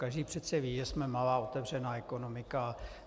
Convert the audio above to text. Každý přece ví, že jsme malá otevřená ekonomika.